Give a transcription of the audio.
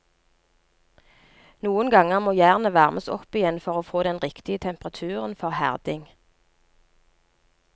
Noen ganger må jernet varmes opp igjen for å få den riktige temperaturen for herding.